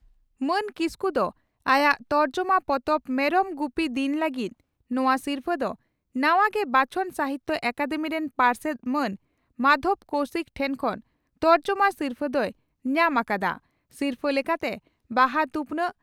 ᱢᱟᱱ ᱠᱤᱥᱠᱩ ᱫᱚ ᱟᱭᱟᱜ ᱛᱚᱨᱡᱚᱢᱟ ᱯᱚᱛᱚᱵ 'ᱢᱮᱨᱚᱢ ᱜᱩᱯᱤ ᱫᱤᱱ' ᱞᱟᱹᱜᱤᱫ ᱱᱚᱣᱟ ᱥᱤᱨᱯᱷᱟᱹ ᱫᱚ ᱱᱟᱣᱟ ᱜᱮ ᱵᱟᱪᱷᱚᱱ ᱥᱟᱦᱤᱛᱭᱚ ᱟᱠᱟᱫᱮᱢᱤ ᱨᱮᱱ ᱯᱟᱨᱥᱮᱛ ᱢᱟᱱ ᱢᱟᱫᱷᱚᱵᱽ ᱠᱚᱣᱥᱤᱠ ᱴᱷᱮᱱ ᱠᱷᱚᱱ ᱛᱚᱨᱡᱚᱢᱟ ᱥᱤᱨᱯᱷᱟᱹ ᱫᱚᱭ ᱧᱟᱢ ᱟᱠᱟᱫᱼᱟ ᱾ᱥᱤᱨᱯᱷᱟᱹ ᱞᱮᱠᱟᱛᱮ ᱵᱟᱦᱟ ᱛᱷᱩᱯᱱᱟᱜ